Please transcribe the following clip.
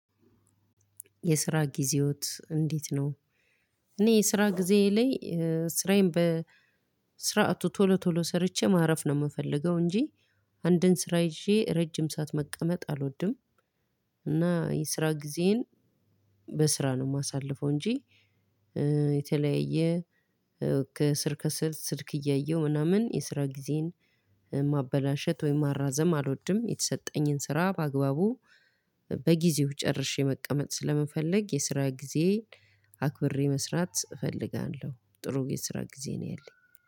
የስራ ጊዜዎት እንዴት ነው? እኔ የስራ ጊዜ ላይ ስራዬን በስራቱ ቶሎ ቶሎ ሰርቼ ማረፍ ነው ምፈልገው እንጂ አንድን ስራ ይዤ ረጅም ሰዓት መቀመጥ አልወድም። እና የስራ ጊዜን በስራ ነው ማሳልፈው እንጂ። የተለያየ ከስር ከስር ስልክ እያየሁ ምናምን የስራ ጊዜን ማበላሸት ወይም ማራዘም አልወድም። የተሰጠኝን ስራ በአግባቡ በጊዜው ጨርሼ መቀመጥ ስለምፈልግ የስራ ጊዜ አክብሬ መስራት እፈልጋለሁ። ጥሩ የስራ ጊዜ ነው ያለኝ።